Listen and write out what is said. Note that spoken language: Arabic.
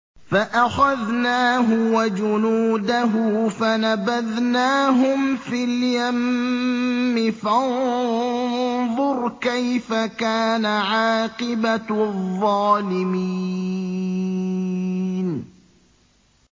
فَأَخَذْنَاهُ وَجُنُودَهُ فَنَبَذْنَاهُمْ فِي الْيَمِّ ۖ فَانظُرْ كَيْفَ كَانَ عَاقِبَةُ الظَّالِمِينَ